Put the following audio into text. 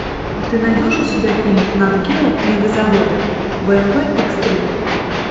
ты найдешь у себя фильм нат гео мегазаводы бмв икс три